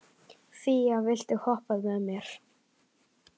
Fía, viltu hoppa með mér?